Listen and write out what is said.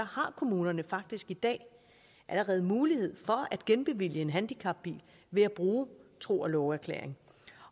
har kommunerne faktisk i dag allerede mulighed for at genbevilge en handicapbil ved at bruge tro og love erklæring